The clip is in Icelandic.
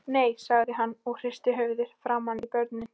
Nei, sagði hann og hristi höfuðið framan í börnin.